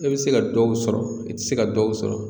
I bɛ se ka dɔw sɔrɔ i tɛ se ka dɔw sɔrɔ